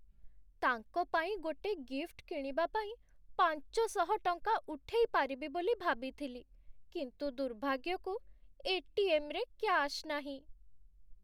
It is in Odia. ତାଙ୍କ ପାଇଁ ଗୋଟେ ଗିଫ୍ଟ୍ କିଣିବା ପାଇଁ ପାଞ୍ଚଶହ ଟଙ୍କା ଉଠେଇ ପାରିବି ବୋଲି ଭାବିଥିଲି, କିନ୍ତୁ ଦୁର୍ଭାଗ୍ୟକୁ ଏଟିଏମ୍ ରେ କ୍ୟାଶ୍ ନାହିଁ ।